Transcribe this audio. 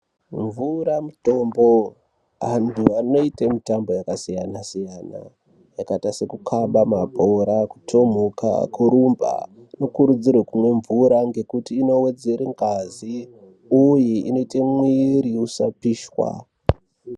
Mvura mutombo. Antu anoite zvemutamba yakasiyana siyana yakaita sekukaba mabhora, kutomhuka kurumba nanokurudzirwa kumwe mvura ngekuti inowedzere ngazi uye inoite mwiri usapishwa.